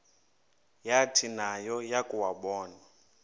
yathi nayo yakuwabona